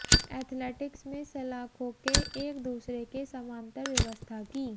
athletics में सलाखों के एक दूसरे के समानांतर व्यवस्था की